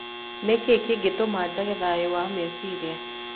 Nĩ kĩĩ kĩngĩtũma njage thayũ wa meciria?